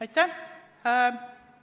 Aitäh!